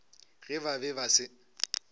ge ba be ba se